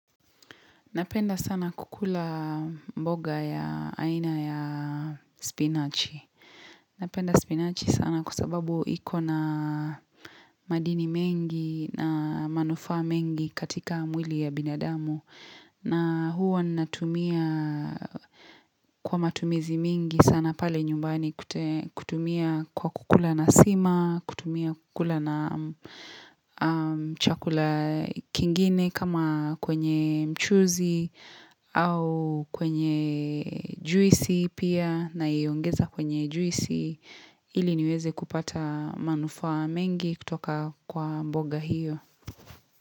Napenda sana kukula mboga ya aina ya spinachi. Napenda spinachi sana kwasababu iko na madini mengi na manufaa mengi katika mwili ya binadamu. Na huwa natumia kwa matumizi mingi sana pale nyumbani kutumia kwa kukula na sima, kutumia kukula na chakula kingine kama kwenye mchuzi au kwenye juisi pia naiongeza kwenye juisi ili niweze kupata manufaa mengi kutoka kwa mboga hiyo.